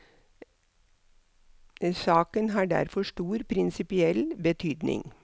Saken har derfor stor prinsipiell betydning.